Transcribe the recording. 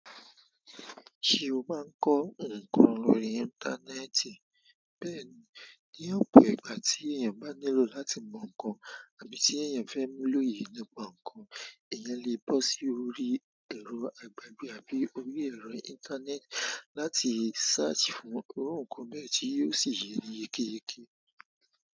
Ṣé o máa ń kọ ǹkan lórí íńtánẹ́ẹ̀tì? Bẹ́ẹ̀ni, ní ọ̀pọ̀ ìgbà tí èèyàn bá nílò láti mọ ǹkan àbí tí èèyàn fẹ́ l'oye nípa ǹkan, èèyàn lè bọ́ sí orí ẹ̀rọ agbègbè àbí orí ẹ̀rọ íńtánẹ́ẹ̀tì láti search fún irú ǹkan bẹ́ẹ̀ tí yóò sì yeni kéékèèké.